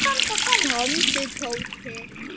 Er það vinnan?